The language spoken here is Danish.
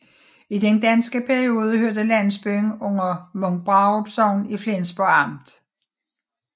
I den danske periode hørte landsbyen under Munkbrarup Sogn i Flensborg Amt